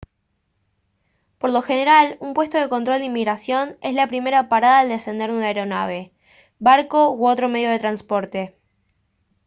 por lo general un puesto de control de inmigración es la primera parada al descender de una aeronave barco u otro medio de transporte